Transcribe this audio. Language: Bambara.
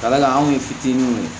Kala la anw ye fitininw ye